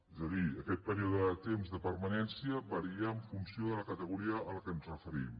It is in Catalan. és a dir aquest període de temps de permanència varia en funció de la categoria a la qual ens referim